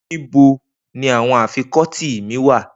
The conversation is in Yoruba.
Nibo ni awọn afikọti mi wa?